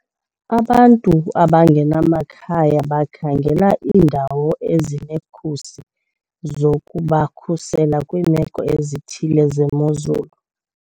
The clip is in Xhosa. Abantu abangenamakhaya bakhangela iindawo ezinekhusi zokubakhusela kwiimeko ezithile zemozulu.